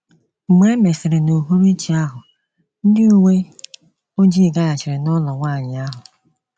Mgbe e mesịrị n’uhuruchi ahụ, ndị uwe ojii gaghachiri n’ụlọ nwanyị ahụ.